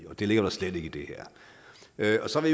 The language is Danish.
det ligger der slet ikke i det her så vil